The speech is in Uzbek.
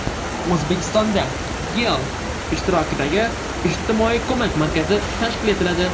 O‘zbekistonda YeI ishtirokida ijtimoiy ko‘mak markazi tashkil etiladi.